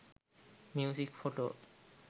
music photo